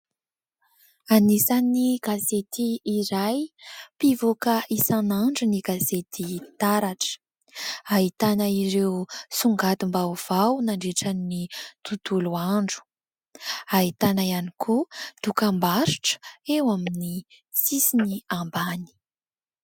Anisany gazety iray mpivoaka isan'andro ny gazety Taratra, ahitana ireo songadim-baovao nandritran'ny tontolo andro, ahitana ihany koa dokam-barotra eo amin'ny sisiny ambany.